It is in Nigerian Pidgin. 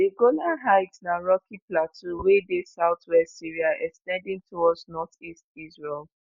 di golan heights na rocky plateau wey dey southwest syria ex ten ding towards northeast israel